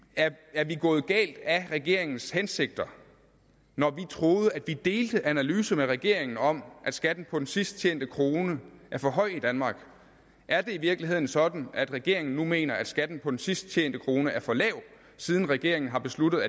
er vi gået galt af regeringens hensigter når vi troede at vi delte analysen med regeringen om at skatten på den sidst tjente krone er for høj i danmark er det i virkeligheden sådan at regeringen nu mener at skatten på den sidst tjente krone er for lav siden regeringen har besluttet